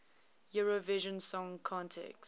eurovision song contest